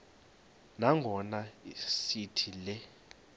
nangona sithi le